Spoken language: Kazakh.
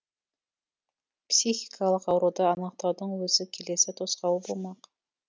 психикалық ауруды анықтаудың өзі келесі тосқауыл болмақ